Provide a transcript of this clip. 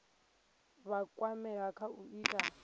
vha kwamea kha u ita